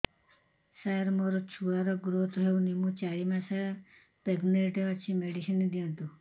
ସାର ମୋର ଛୁଆ ର ଗ୍ରୋଥ ହଉନି ମୁ ଚାରି ମାସ ପ୍ରେଗନାଂଟ ଅଛି ମେଡିସିନ ଦିଅନ୍ତୁ